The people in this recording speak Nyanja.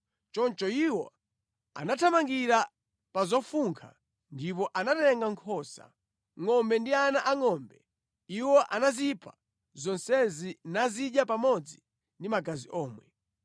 Choncho iwo anathamangira pa zofunkha ndipo anatenga nkhosa, ngʼombe ndi ana angʼombe. Iwo anazipha zonsezi nazidya pamodzi ndi magazi omwe.